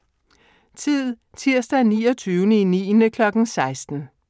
Tid: Tirsdag 29.9. kl. 16